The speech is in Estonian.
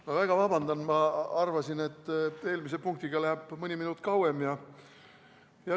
Ma palun vabandust, ma arvasin, et eelmise punktiga läheb mõni minut kauem.